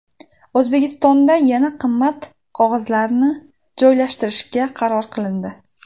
O‘zbekistonda yana davlat qimmat qog‘ozlarini joylashtirishga qaror qilindi .